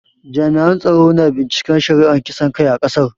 Jami'an tsaro na binciken shari'ar kisan kai a kasar.